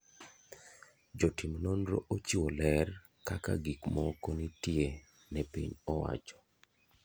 Jotim nonro ochiwo ler kaka gik moko nitie ne piny owacho